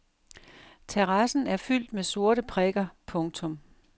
Terrassen er fyldt med sorte prikker. punktum